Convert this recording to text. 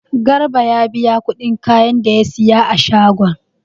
Garbi ya biya kudin kayan da ya saya a shagon.